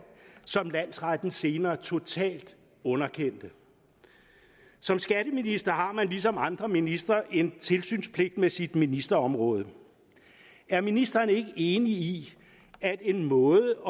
som landsretten senere total underkendte som skatteminister har man ligesom andre ministre en tilsynspligt med sit ministerområde er ministeren ikke enig i at en måde